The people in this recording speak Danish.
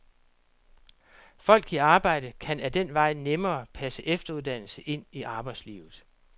Folk i arbejde kan ad den vej nemmere passe efteruddannelse ind i arbejdslivet.